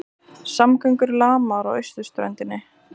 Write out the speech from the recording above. Samgöngur lamaðar á austurströndinni